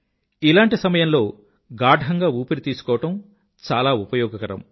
ఇలాంటి సమయంలో గాఢంగా ఊపిరి తీసుకోవడం చాలా ఉపయోగకరం